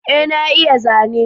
Ee na iya zane